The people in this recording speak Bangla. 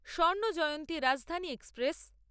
স্বর্ণ জয়ন্তী রাজধানী এক্সপ্রেস